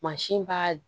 Mansin b'a